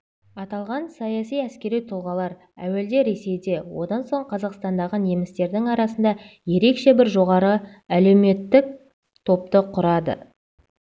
аталған саяси-әскери тұлғалар әуелде ресейде одан соң қазақстандағы немістердің арасында ерекше бір жоғары әлеуметтік топты құрады